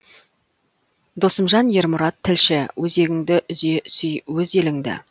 досымжан ермұрат тілші өзегіңді үзе сүй өз еліңді